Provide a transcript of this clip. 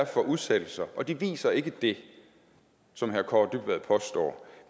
for udsættelser og de viser ikke det som herre kaare dybvad påstår